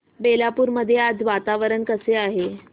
बेलापुर मध्ये आज वातावरण कसे आहे